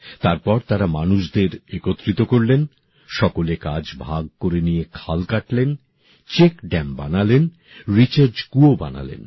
তারপর তারা মানুষদের একত্রিত করলেন সকলে কাজ ভাগ করে নিয়ে খাল কাটলেন চেক ড্যাম বানালেন রিচার্জ কুয়ো বানালেন